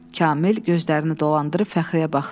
Kamil gözlərini dolandırıb Fəxriyə baxdı.